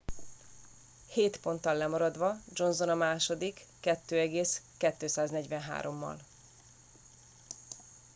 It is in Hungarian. hét ponttal lemaradva johnson a második 2.243-al